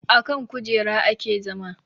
Akan kujera ake zama